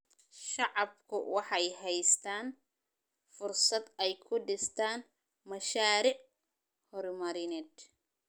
Shacabku waxay haystaan ??fursad ay ku dhistaan ??mashaariic horumarineed.